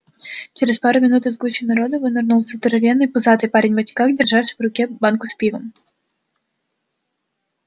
через пару минут из гущи народа вынырнул здоровенный пузатый парень в очках держащий в руке банку с пивом